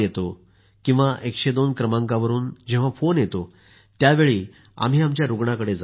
102 क्रमांकावरून जेंव्हा फोन येतो त्यावेळी आम्ही आमच्या रुग्णाकडे जातो